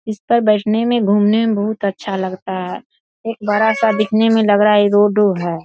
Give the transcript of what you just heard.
इस पर बैठने में घूमने मे बहुत अच्‍छा लगता है एक बड़ा-सा दिखने में लग रहा है है।